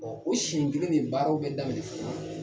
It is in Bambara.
o seɲɛn nin baaraw bɛ daminɛ fana